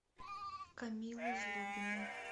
камилы злобиной